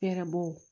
Hɛrɛbɔ